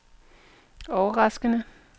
overraskende